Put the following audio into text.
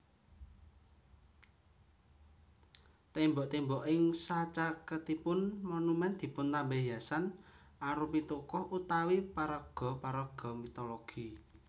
Tembok tembok ing sacaketipun monumen dipuntambahi hiasan arupi tokoh/paraga paraga mitologi